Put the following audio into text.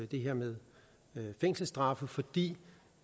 det her med fængselsstraffe fordi